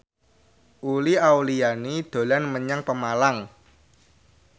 Uli Auliani dolan menyang Pemalang